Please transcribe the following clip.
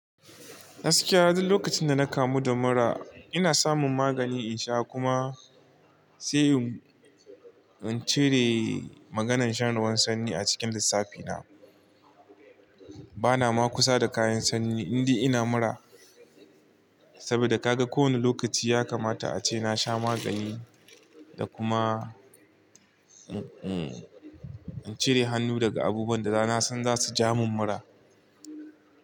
Gaskiya duk lokacin da na kamu da mura. Ina samun magani in sha kuma sai in cire maganan shan ruwan sanyi a cikin lissafina. Bana ma kusa da kayan sanyi indai ina mura saboda kaga kowane lokaci ya kamata ace na sha magani da kuma, hmm, in cire hannu daga abubuwan da na san za su ja min mura.